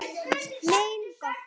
Mein Gott!